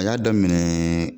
A ya daminɛ.